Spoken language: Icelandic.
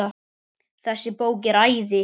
Þessi bók er æði.